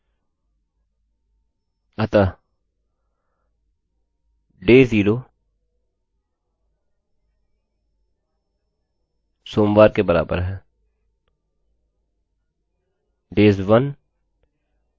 अतः days zero equals mondayशून्य दिन सोमवार के बराबर है days one equals tuesday एक दिन मंगलवार के बराबर है